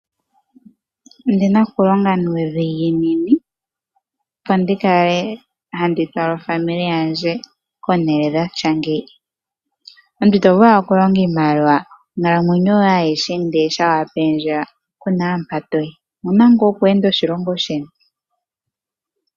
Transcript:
Ondina okulonga nuudhiginini opo ndikale handi fala aakwanezimo lyandje Komahala omawanawa. Omuntu ito vulu owala okulonga iimaliwa ndele onkalamwenyo yoye ndele ngele wapenzelwa kuna mpa toyi, omuna ngaa okutalelapo moshilongo sheni.